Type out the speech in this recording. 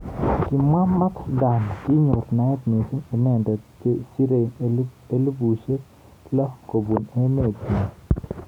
Kimwa Mat Dan kinyor naet mising inendet chesirei elipushek lo kobun emet nyi.